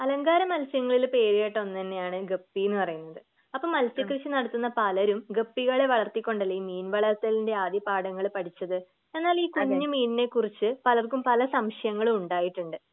അലങ്കാരമത്സ്യങ്ങളിൽ പേരുകേട്ട ഒന്ന് തന്നെയാണ് ഗപ്പിന്ന് പറയുന്നത് അപ്പൊ മത്സ്യകൃഷി നടത്തുന്ന പലരും ഗപ്പികളെ വളർത്തി കൊണ്ടല്ലേ ഈ മീൻ വളർത്തലിൻ്റെ ആദ്യപാഠങ്ങൾ പഠിച്ചത് എന്നാൽ ഈ കുഞ്ഞു മീനിനെ കുറിച്ച് പലർക്കും പല സംശയങ്ങളും ഉണ്ടായിട്ടുണ്ട്.